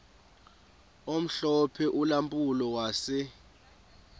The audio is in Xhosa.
omhlophe ulampulo wase